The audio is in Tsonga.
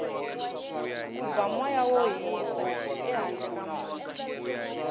ku ba moya wo hisa ehandle ka muti